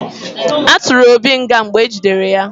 A tụrụ Obi nga mgbe ejidere ya